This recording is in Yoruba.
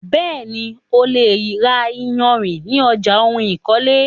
Bẹ́ẹ̀ni, o lè ra iyarìn ní ọjà oun ìkọ́lé.